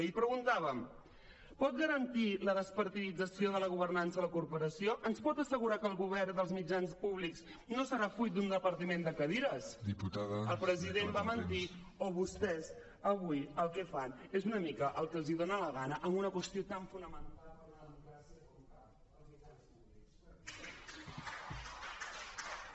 i preguntàvem pot garantir la despartidització de la governança a la corporació ens pot assegurar que el govern dels mitjans públics no serà fruit d’un repartiment de cadires el president va mentir o vostès avui el que fan és una mica el que els dona la gana amb una qüestió tan fonamental per a una democràcia com cal els mitjans públics